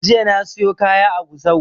Jiya na siyo kaya a gusau